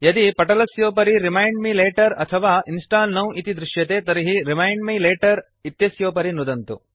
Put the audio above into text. यदि पटलस्योपरि remind me later अथवा इंस्टॉल नौ इति दृश्यते तर्हि रिमाइंड मे लेटर इत्यस्योपरि नुदन्तु